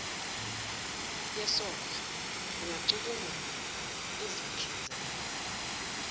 yesondlo ingacubungula izihlinzeko